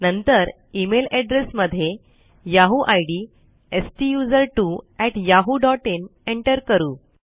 नंतर email address मध्ये Yahoo ID STUSERTWOyahooin enter करू